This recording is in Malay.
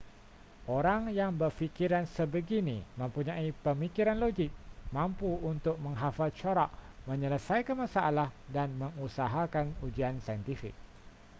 orang yang berfikiran sebegini mempunyai pemikiran logik mampu untuk menghafal corak menyelesaikan masalah dan mengusahakan ujian saintifik